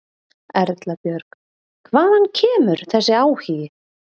Erla Björg: Hvaðan kemur þessi áhugi?